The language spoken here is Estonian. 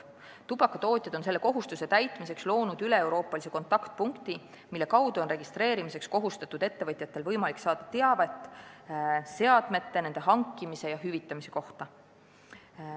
Tubakatootjad on selle kohustuse täitmiseks loonud üleeuroopalise kontaktpunkti, mille kaudu on registreerimiseks kohustatud ettevõtjatel võimalik saada teavet seadmete, nende hankimise ja hüvitamise kohta.